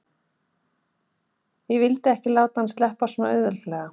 Ég vildi ekki láta hann sleppa svona auðveldlega.